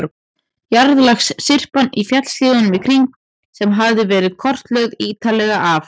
Jarðlagasyrpan í fjallshlíðunum í kring, sem hafði verið kortlögð ítarlega af